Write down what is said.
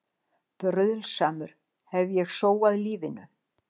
Bruðlsamur hef ég sóað lífinu.